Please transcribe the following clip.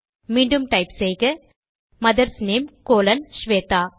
மீண்டும் டைப் செய்க mother's name colon Shweta